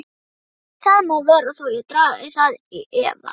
Það má vera þó ég dragi það í efa.